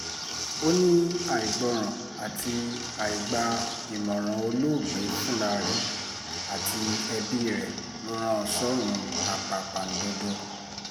ó ní àìgbọràn àti àìgba ìmọ̀ràn olóògbé fúnra rẹ̀ àti ẹbí rẹ̀ ló rán an sọ́rùn àpàpàǹdodo